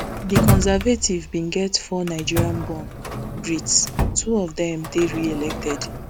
di conservative bin get four nigerianborn brits two of dem dey reelected